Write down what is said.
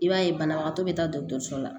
I b'a ye banabagatɔ bɛ taa dɔgɔtɔrɔso la